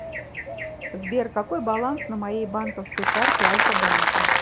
сбер какой баланс на моей банковской карте альфа банка